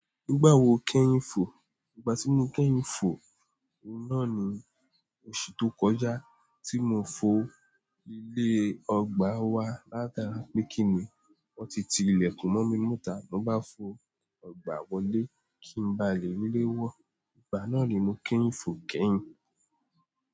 Nígbà wo kẹ́yin fò? Ìgbà tí mo kẹ́yin fò, òun náà ni oṣù tó kọjá tí mo fò ilé ọgbà wa látara pé kí nì, wọ́n ti ti ilẹ̀kùn mọ́ mi nita, mo bá fò ọgbà wọlé kí n ba lè lé wọ́. Ìgbà náà ni mo kẹ́yin fò kẹ́yin.